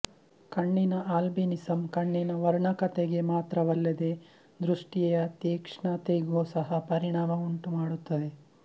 ಕಣ್ಣಿನ ಆಲ್ಬಿನಿಸಂ ಕಣ್ಣಿನ ವರ್ಣಕತೆಗೆ ಮಾತ್ರವಲ್ಲದೇ ದೃಷ್ಟಿಯ ತೀಕ್ಷ್ಣತೆಗೂ ಸಹ ಪರಿಣಾಮ ಉಂಟುಮಾಡುತ್ತದೆ